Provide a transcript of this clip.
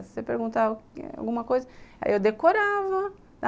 Se você perguntar alguma coisa, aí eu decorava.